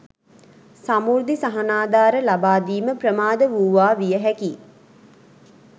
සමෘද්ධි සහනාධාර ලබා දීම ප්‍රමාද වූවා විය හැකියි